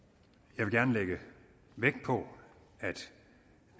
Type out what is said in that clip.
jeg vil gerne lægge vægt på at